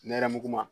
Nɛrɛmuguman